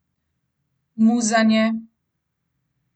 Muzanje.